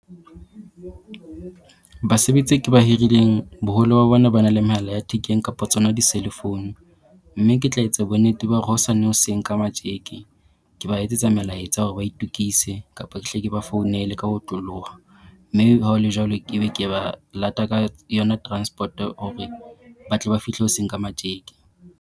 Basebetsi e ke ba hirileng boholo ba bona ba na le mehala ya thekeng kapa tsona di-cell phone. Mme ke tla etsa bonnete ba hore hosane hoseng ka matjeke ke ba etsetsa melaetsa hore ba itokise kapo ke hle ke ba founele ka ho otloloha. Mme ha ho le jwalo ke be ke ba lata ka yona transport-o or-re ba tle ba fihle hoseng ka matjeke.